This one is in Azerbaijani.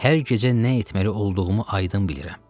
Hər gecə nə etməli olduğumu aydın bilirəm.